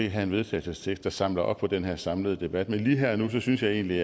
have en vedtagelsestekst der samler op på den her samlede debat men lige her og nu synes jeg egentlig